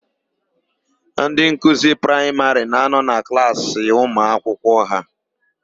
Ndị nkuzi praịmarị na-anọ na klaasị ụmụakwụkwọ ha.